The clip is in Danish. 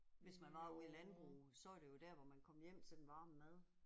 Hvis man var ude i landbruget så var det jo der hvor man kom hjem til den varme mad